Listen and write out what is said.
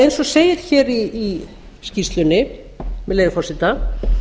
eins og segir í skýrslunni með leyfi forseta